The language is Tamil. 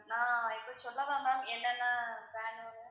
நான் இது சொல்லவா ma'am என்னென்ன வேணும்னு